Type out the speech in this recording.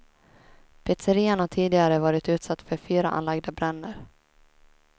Pizzerian har tidigare varit utsatt för fyra anlagda bränder.